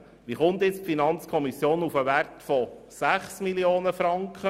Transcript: Wie kommt die FiKo auf den Betrag von 6 Mio. Franken?